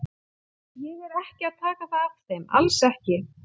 Ég er ekki að taka það af þeim, alls ekki.